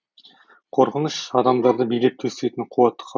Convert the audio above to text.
қорқыныш адамдарды билеп төстейтін қуатты